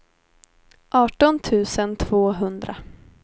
arton tusen tvåhundra